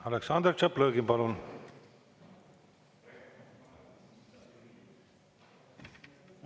Aleksandr Tšaplõgin, palun!